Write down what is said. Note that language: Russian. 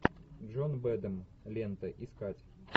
джон бэдэм лента искать